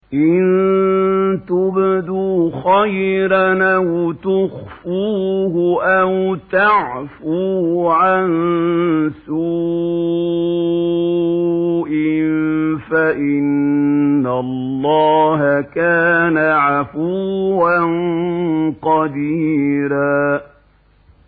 إِن تُبْدُوا خَيْرًا أَوْ تُخْفُوهُ أَوْ تَعْفُوا عَن سُوءٍ فَإِنَّ اللَّهَ كَانَ عَفُوًّا قَدِيرًا